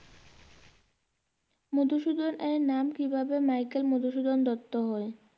মধুসূদনের নাম কিভাবে মাইকেল মধুসূদন দ্ত্ত হলো?